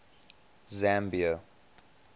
zambia